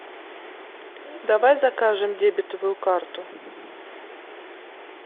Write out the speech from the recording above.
давай закажем дебетовую карту